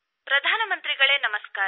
ಪ್ರಧಾನಮಂತ್ರಿಗಳೆ ನಮಸ್ಕಾರ